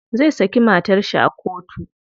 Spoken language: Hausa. Zai saki matar shi a kotu.